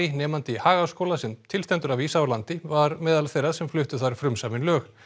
nemandi í Hagaskóla sem til stendur að vísa úr landi var meðal þeirra sem fluttu þar frumsömin lög